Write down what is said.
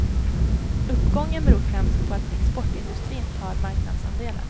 Uppgången beror främst på att exportindustrin tar marknadsandelar.